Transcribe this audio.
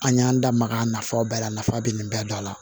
An y'an da maga nafaba la nafa bɛ nin bɛɛ dɔn a la